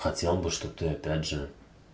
хотел бы что бы ты опять же